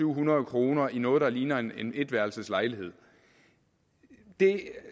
hundrede kroner i noget der ligner en etværelseslejlighed det